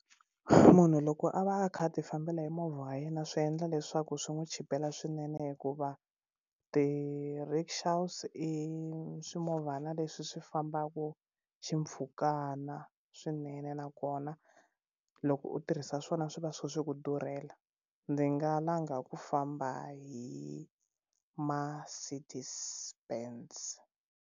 Munhu loko a va a kha a ti fambela hi movha wa yena swi endla leswaku swi n'wi chipela swinene hikuva ti rickshaws i swimovhana leswi swi fambaka xi mpfhukana swinene nakona loko u tirhisa swona swi va swi ku durhela ndzi nga langa ku famba hi Mercedes Benz.